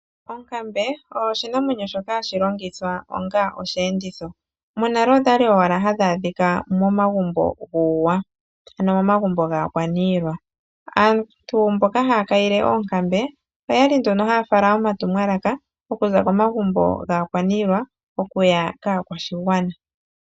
Onkambe oyo oshinamwenyo shoka hashi longithwa onga osheenditho. Monale odha li owala hadhi adhika momagumbo gUuwa ,ano momagumbo gaakwaniilwa. Aantu mboka haa kayile oonkambe oya li nduno haya fala omatumwalaka ,okuza komagumbo gaakwaniilwa oku ya kaakwashigwana.